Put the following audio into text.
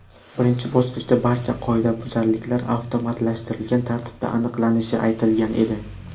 Birinchi bosqichda barcha qoidabuzarliklar avtomatlashtirilgan tartibda aniqlanishi aytilgan edi.